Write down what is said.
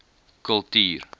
kultuur